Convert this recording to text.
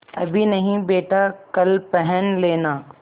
अभी नहीं बेटा कल पहन लेना